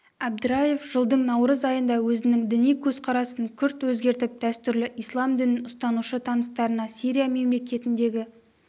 әбдіраев жылдың наурыз айында өзінің діни көзқарасын күрт өзгертіп дәстүрлі ислам дінін ұстанушы таныстарына сирия мемлекетіндегі